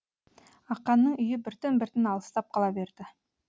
ақанның үйі біртін біртін алыстап қала берді